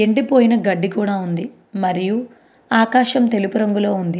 ఎండి పోయిన గడ్డి కూడా ఉంది. మరియు ఆకాశం తెలుపు రంగులో ఉంది.